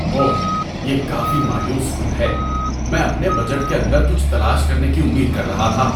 اوہ، یہ کافی مایوس کن ہے۔ میں اپنے بجٹ کے اندر کچھ تلاش کرنے کی امید کر رہا تھا۔